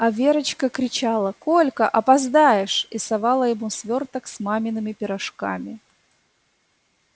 а верочка кричала колька опоздаешь и совала ему свёрток с мамиными пирожками